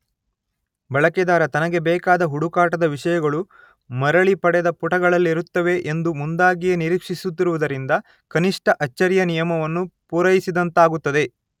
ಬಳಕೆದಾರ ತನಗೆ ಬೇಕಾದ ಹುಡುಕಾಟದ ವಿಷಯಗಳು ಮರಳಿಪಡೆದ ಪುಟಗಳಲ್ಲಿರುತ್ತವೆ ಎಂದು ಮುಂದಾಗಿಯೇ ನಿರೀಕ್ಷಿಸುತ್ತಿರುವುದರಿಂದ ಕನಿಷ್ಟ ಅಚ್ಚರಿಯ ನಿಯಮವನ್ನು ಪೂರಯಿಸಿದಂತಾಗುತ್ತದೆ.